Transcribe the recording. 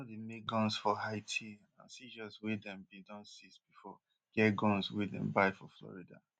dem no dey make guns for haiti and seizures wey dem bin don seize bifor get guns wey dem buy for florida